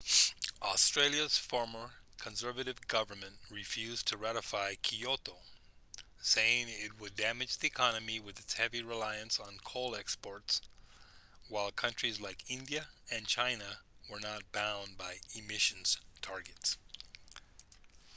australia's former conservative government refused to ratify kyoto saying it would damage the economy with its heavy reliance on coal exports while countries like india and china were not bound by emissions targets